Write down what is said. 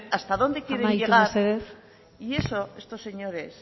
hasta dónde quieren llegar amaitu mesedez y eso a estos señores